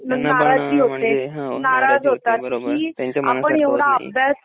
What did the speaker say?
नाराज होतात कि आपण एव्हडा अभ्यास